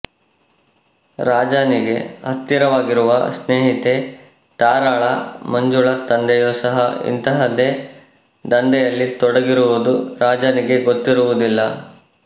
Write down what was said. ರಾಜಾನಿಗೆ ಹತ್ತಿರವಾಗಿರುವ ಸ್ನೇಹಿತೆ ತಾರಾಳ ಮಂಜುಳಾ ತಂದೆಯೂ ಸಹ ಇಂತಹದ್ದೇ ಧಂಧೆಯಲ್ಲಿ ತೊಡಗಿರುವುದು ರಾಜಾನಿಗೆ ಗೊತ್ತಿರುವುದಿಲ್ಲ